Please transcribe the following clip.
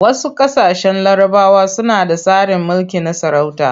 Wasu ƙasashen larabawa suna da tsarin mulki na sarauta.